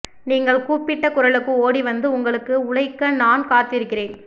நீங்கள் கூப்பிட்ட குரலுக்கு ஓடிவந்து உங்களுக்கு உழைக்க நான் காத்திருக்கிறேன்